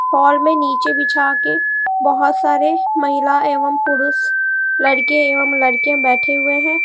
Hall में नीचे बिछा के बहुत सारे महिला एवं पुरुष लड़के एवं लड़कियां बैठे हुए हैं।